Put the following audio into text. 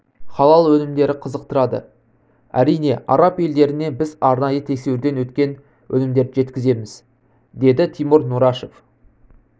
халал өнімдері қызықтырады әрине араб елдеріне біз арнайы тексеруден өткен өнімдерді жеткіземіз деді тимур нұрашев